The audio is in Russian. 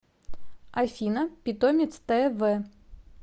афина питомец тэ вэ